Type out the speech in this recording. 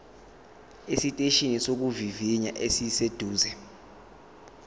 esiteshini sokuvivinya esiseduze